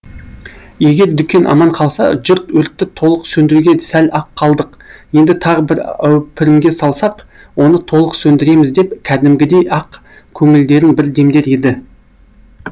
егер дүкен аман қалса жұрт өртті толық сөндіруге сәл ақ қалдық енді тағы бір әупірімге салсақ оны толық сөндіреміз деп кәдімгідей ақ көңілдерін бір демдер еді